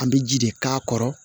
An bɛ ji de k'a kɔrɔ